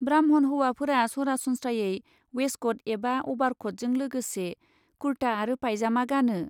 ब्राह्मण हौवाफोरा सरासनस्रायै वेस्टक'ट एबा अभारक'टजों लोगोसे कुर्ता आरो पाइजामा गानो।